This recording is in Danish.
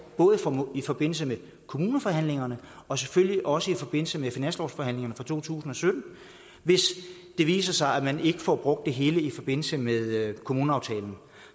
både i forbindelse med kommuneforhandlingerne og selvfølgelig også i forbindelse med finanslovsforhandlingerne for to tusind og sytten hvis det viser sig at man ikke får brugt det hele i forbindelse med kommuneaftalen